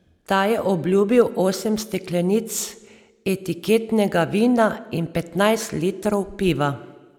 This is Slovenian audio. Ta je obljubil osem steklenic etiketnega vina in petnajst litrov piva.